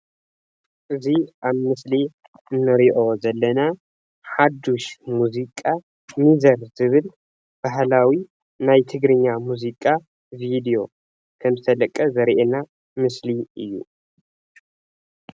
እዚ ኣብ ምስሊ እንሪኦ ዘለና ሓዱሽ ሙዚቃ ሚዘር ዝብልባህላዊ ናይ ትግኛ ሙዚቃ ቪድዮ ከም ዝተለቀ ዘሪኤና ምስሊ እዩ፡፡